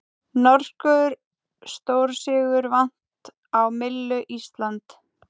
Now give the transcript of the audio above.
Norskur stórsigur vatn á myllu Íslands